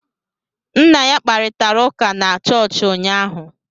M na ya kparịtara ụka na chọọchị ụnyaahụ